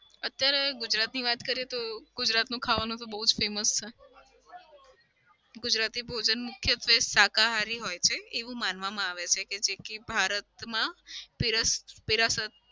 અત્યારે ગુજરાતની વાત કરીએ તો ગુજરાતનું ખાવાનું બઉ famous છે. ગુજરાતી ભોજન મુખ્યત્વે શાકાહારી હોય છે એવું માનવામાં આવે છે કે જેથી ભારતમાં દેરાસર